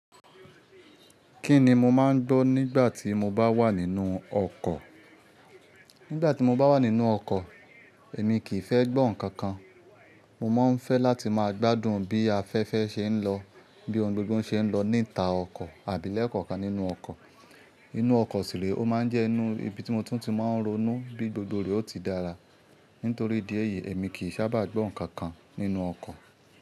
Kí ni mo máa ń gbọ́ nígbà tí mo bá wà nínú ọkọ̀? Nígbà tí mo bá wà nínú ọkọ̀, èmi kì í fẹ́ gbọ́ nǹkan kan. Mo máa ń fẹ́ láti máa gbádùn bí afẹ́fẹ́ ṣe ń lọ, bí ohun gbogbo ṣe ń lọ níta ọkọ̀ àbí lẹ́ẹ̀kọ̀kan nínú ọkọ̀. Inú ọkọ̀ sì ríe, ó máa ń jẹ́ inú ibi tí mo tún ti máa ń ronú bí gbogbo re ó ti dára. Nítorí idi eyìí èmi kì í sábà gbọ́ nǹkan kan nínú ọkọ̀